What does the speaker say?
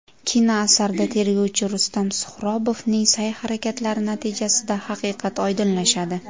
Kinoasarda tergovchi Rustam Suhrobovning sa’y-harakatlari natijasida haqiqat oydinlashadi.